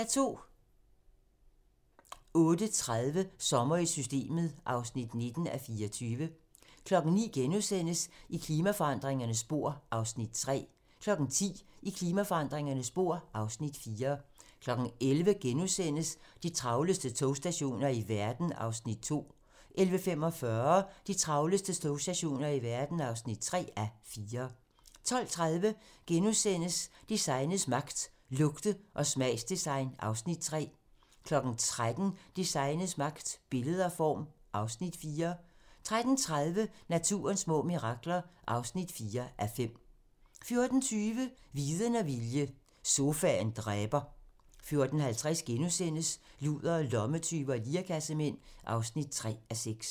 08:30: Sommer i Systemet (19:24) 09:00: I klimaforandringernes spor (Afs. 3)* 10:00: I klimaforandringernes spor (Afs. 4) 11:00: De travleste togstationer i verden (2:4)* 11:45: De travleste togstationer i verden (3:4) 12:30: Designets magt - Lugte- og smagsdesign (Afs. 3)* 13:00: Designets magt - Billede og form (Afs. 4) 13:30: Naturens små mirakler (4:5) 14:20: Viden og vilje - sofaen dræber 14:50: Ludere, lommetyve og lirekassemænd (3:6)*